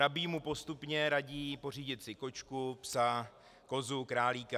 Rabín mu postupně radí pořídit si kočku, psa, kozu, králíka.